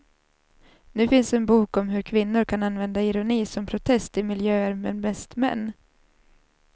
Nu finns en bok om hur kvinnor kan använda ironi som protest i miljöer med mest män.